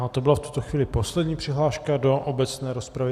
A to byla v tuto chvíli poslední přihláška do obecné rozpravy.